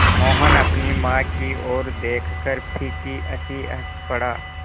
मोहन अपनी माँ की ओर देखकर फीकी हँसी हँस पड़ा